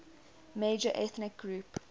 major ethnic group